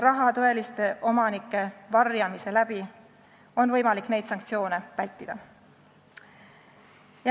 Raha tõelisi omanikke varjates on võimalik neid sanktsioone vältida.